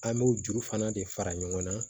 An b'o juru fana de fara ɲɔgɔn na